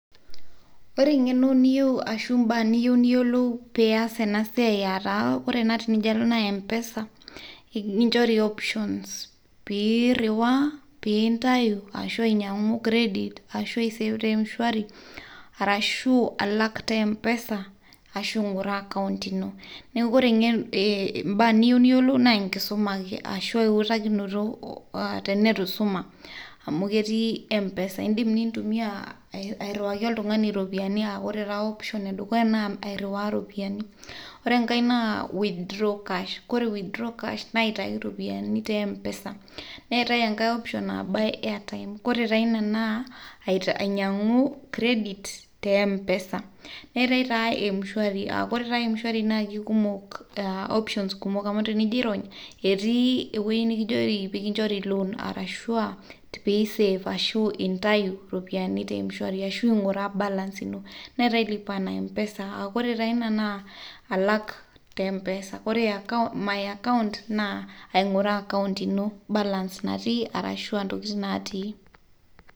Ore eng'eno nieyu arashu imbaa niyeu niyiolou pias esiaai aataa kore ena tenijo alo naa mpesa ikinchori opyions piiruwaa, piintayu ashu ainyang'u credit ashu aiseev te mshwari arashu alak te mpesa ashu ainguraa account ino naa koree imbaa niye niyolou naa inkisuma ake ashu eutakinoto ata netu isuma amu ketii mpesa indim nintumiyaa airuwaki oltungani iropiyiani aa ore taa option edukuya naa airuwaa iropiyiani, ore inkae naa withdraw cash ,ore withdraw cash naa aitayu iropiyiani te mpesa ,neate enkae option naa buy airtime ,koree taa inia naa ainyang'u credit te mpesa neatae naa mshwari aa kore taa mshwari naa kekumok options kumok amu tenijo airony etii eweji nijijoki peyie kinchori loan arashu aapiintayu aarashu piisev, ashuu piintayu iropiyiani te mshwari ashuu aing'iraa balance ino, neatae lipa na mpesa aakore taa ina naa alak te mpesa ,kore [cs[ my accont naa aing'uraa akaunt ino balance natii arashu intokitin natii.